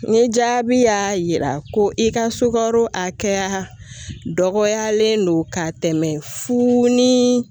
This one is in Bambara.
Ni jaabi y'a yira ko i ka sukaro a kɛya dɔgɔyalen don ka tɛmɛ fu ni